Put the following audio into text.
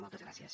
moltes gràcies